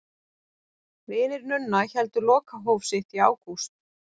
Vinir Nunna héldu lokahóf sitt í ágúst.